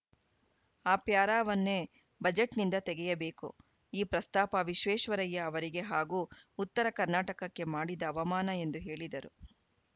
ಆ ಪ್ಯಾರಾವನ್ನೇ ಬಜೆಟ್‌ನಿಂದ ತೆಗೆಯಬೇಕು ಈ ಪ್ರಸ್ತಾಪ ವಿಶ್ವೇಶ್ವರಯ್ಯ ಅವರಿಗೆ ಹಾಗೂ ಉತ್ತರ ಕರ್ನಾಟಕಕ್ಕೆ ಮಾಡಿದ ಅವಮಾನ ಎಂದು ಹೇಳಿದರು